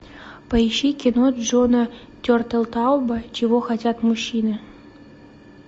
поищи кино джона тертелтауба чего хотят мужчины